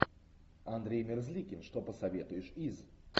андрей мерзликин что посоветуешь из